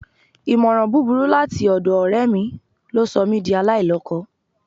Ìmọ̀ràn búburú láti ọ̀dọ̀ ọ̀rẹ́ mi ló sọ mí di aláìlọ́kọ